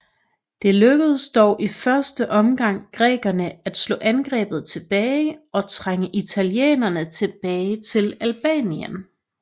Det lykkedes dog i første omgang grækerne at slå angrebet tilbage og trænge italienerne tilbage til Albanien